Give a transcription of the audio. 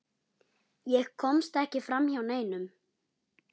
Ég komst ekki framhjá neinum.